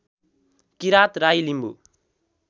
Kirat Rai Limbu